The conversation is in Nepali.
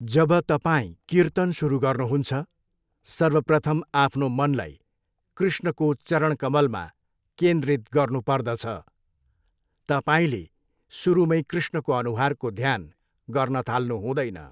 जब तपाईँ कीर्तन सुरु गर्नुहुन्छ, सर्वप्रथम आफ्नो मनलाई कृष्णको चरणकमलमा केन्द्रित गर्नुपर्दछ, तपाईँले सुरुमै कृष्णको अनुहारको ध्यान गर्न थाल्नु हुँदैन।